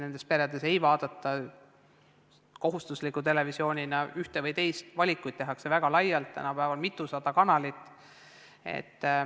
Nendes peredes ei vaadata tingimata ühte või teist n-ö kohustuslikku televisiooni, vaid valikuid tehakse väga laialt, tänapäeval on mitusada kanalit.